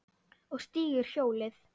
Og stígur hjólið.